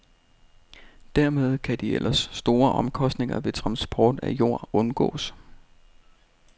Dermed kan de ellers store omkostninger ved transport af jord undgås.